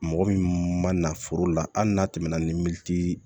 Mɔgɔ min ma na foro la hali n'a tɛmɛna ni min tɛ